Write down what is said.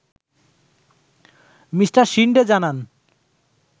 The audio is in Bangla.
মিঃ শিন্ডে জানান